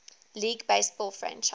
league baseball franchise